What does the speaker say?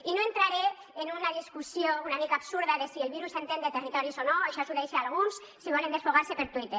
i no entraré en una discussió una mica absurda de si el virus entén de territoris o no això ho deixe a alguns si volen desfogar se per twitter